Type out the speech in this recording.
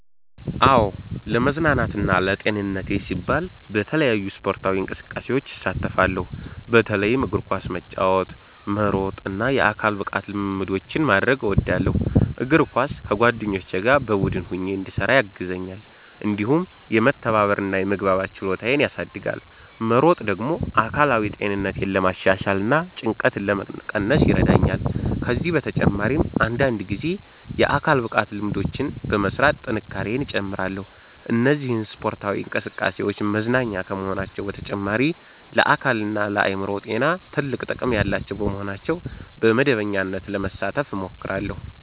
"አዎ፣ ለመዝናናትና ለጤንነቴ ሲባል በተለያዩ ስፖርታዊ እንቅስቃሴዎች እሳተፋለሁ። በተለይም እግር ኳስ መጫወት፣ መሮጥ እና የአካል ብቃት ልምምዶችን ማድረግ እወዳለሁ። እግር ኳስ ከጓደኞቼ ጋር በቡድን ሆኜ እንድሰራ ያግዘኛል፣ እንዲሁም የመተባበር እና የመግባባት ችሎታዬን ያሳድጋል። መሮጥ ደግሞ አካላዊ ጤንነቴን ለማሻሻል እና ጭንቀትን ለመቀነስ ይረዳኛል። ከዚህ በተጨማሪ አንዳንድ ጊዜ የአካል ብቃት ልምምዶችን በመሥራት ጥንካሬዬን እጨምራለሁ። እነዚህ ስፖርታዊ እንቅስቃሴዎች መዝናኛ ከመሆናቸው በተጨማሪ ለአካልና ለአእምሮ ጤና ትልቅ ጥቅም ያላቸው በመሆናቸው በመደበኛነት ለመሳተፍ እሞክራለሁ።"